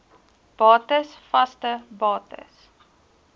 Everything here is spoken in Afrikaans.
bates vaste bates